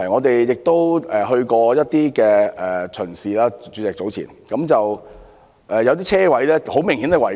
主席，我們早前亦曾視察一些停車場，有些泊車位明顯違規。